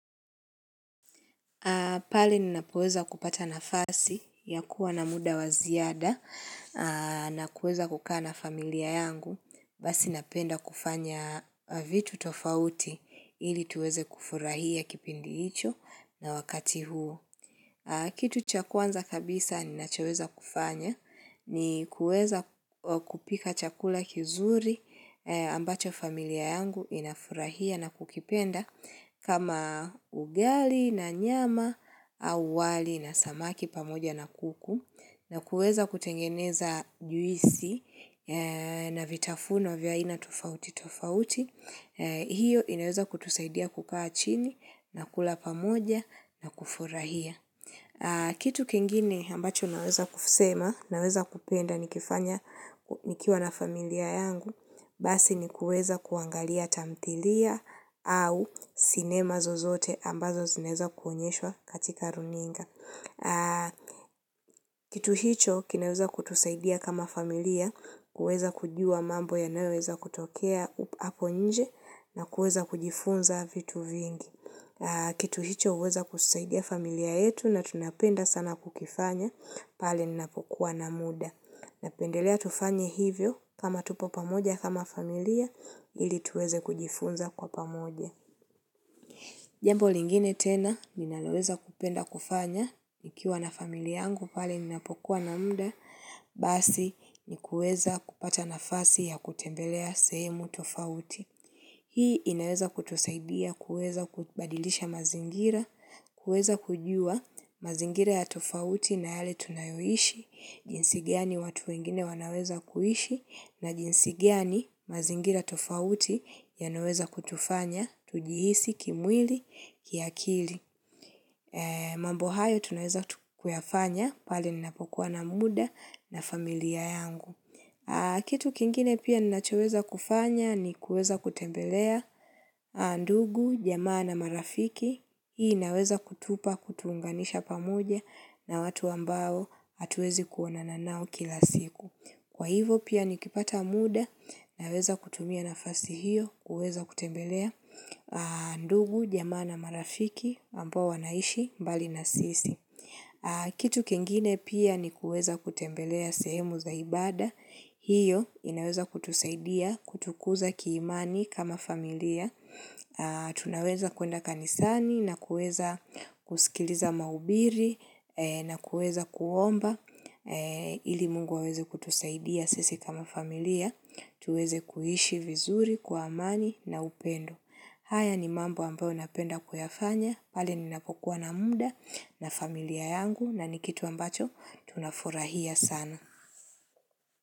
Pale ninapoweza kupata nafasi ya kuwa na muda waziada na kuweza kukaa na familia yangu basi napenda kufanya vitu tofauti ili tuweze kufurahia kipindi hicho na wakati huo. Kitu chakwanza kabisa ninachoweza kufanya ni kuweza kupika chakula kizuri ambacho familia yangu inafurahia na kukipenda kama ugali na nyama au wali na samaki pamoja na kuku na kuweza kutengeneza juisi na vitafuno vya aina tofauti tofauti. Hiyo inaweza kutusaidia kukaa chini na kula pamoja na kufurahia. Kitu kingine ambacho naweza kusema, naweza kupenda ni kifanya nikiwa na familia yangu, basi ni kuweza kuangalia tamthilia au sinema zozote ambazo zinaweza kuonyeshwa katika runinga. Kitu hicho, kinaweza kutusaidia kama familia, kuweza kujua mambo yanayoweza kutokea hapo nje na kuweza kujifunza vitu vingi. Kitu hicho huweza kusaidia familia yetu na tunapenda sana kukifanya pale ninapokuwa na muda. Napendelea tufanye hivyo kama tupo pamoja kama familia ili tuweze kujifunza kwa pamoja. Jambo lingine tena ninaloweza kupenda kufanya nikiwa na familia yangu pale ninapokuwa na muda basi nikuweza kupata na fasi ya kutembelea sehemu tofauti. Hii inaweza kutusaidia kuweza kubadilisha mazingira, kuweza kujua mazingira ya tofauti na yale tunayoishi, jinsi gani watu wingine wanaweza kuishi na jinsi gani mazingira tofauti yanaweza kutufanya, tujihisi, kimwili, kiakili. Mambo hayo tunaweza kuyafanya, pale ninapokuwa na muda na familia yangu. Kitu kingine pia ni nachoweza kufanya ni kuweza kutembelea, ndugu, jamaa na marafiki, hii inaweza kutupa kutuunganisha pamoja na watu ambao hatuwezi kuonana nao kila siku. Kwa hivo pia nikipata muda naweza kutumia nafasi hiyo kuweza kutembelea, ndugu, jamaa na marafiki ambao wanaishi mbali na sisi. Kitu kingine pia ni kuweza kutembelea sehemu za ibada, hiyo inaweza kutusaidia, kutukuza kiimani kama familia, tunaweza kuenda kanisani, na kuweza kusikiliza mahubiri, na kuweza kuomba, ili mungu aweze kutusaidia sisi kama familia, tuweze kuishi vizuri, kwa amani na upendo. Haya ni mambo ambayo napenda kuyafanya, pale ninapokuwa na muda na familia yangu na ni kitu ambacho tunafurahia sana.